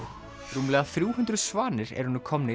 rúmlega þrjú hundruð svanir eru nú komnir